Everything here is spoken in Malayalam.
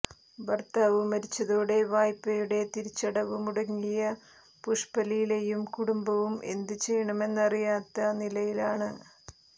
ഭർത്താവ് മരിച്ചതോടെ വായ്പ്പയുടെ തിരിച്ചടവ് മുടങ്ങിയ പുഷ്പലീലയും കുടുംബവും എന്ത് ചെയ്യണമെന്നറിയാത്ത നിലയിലാണ്